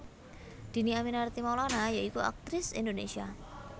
Dhini Aminarti Maulana ya iku aktris Indonésia